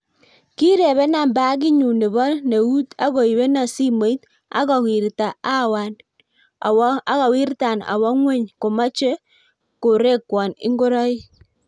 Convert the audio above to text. kirebenan pagitnyun nepo neut agoibenan simoit ago wirtan awa ngweny komache korekwan ingoraik